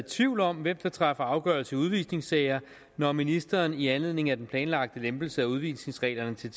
i tvivl om hvem der træffer afgørelse i udvisningssager når ministeren i anledning af den planlagte lempelse af udvisningsreglerne til